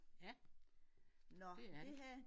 Ja det er det